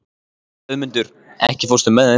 Hlöðmundur, ekki fórstu með þeim?